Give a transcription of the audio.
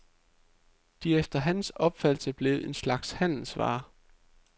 De er efter hans opfattelse blevet en slags handelsvare.